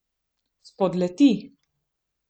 Spodleti.